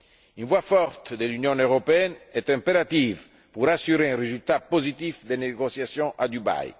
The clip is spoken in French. Une voix forte de l'Union européenne est impérative pour assurer un résultat positif des négociations à Dubaï.